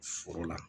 Foro la